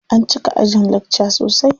An cika ajin lakca sosai.